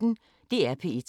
DR P1